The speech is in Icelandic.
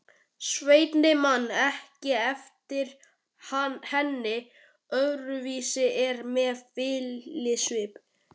Svenni man ekki eftir henni öðruvísi en með fýlusvip.